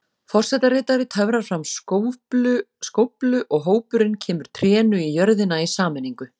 Forsetaritari töfrar fram skóflu og hópurinn kemur trénu í jörðina í sameiningu.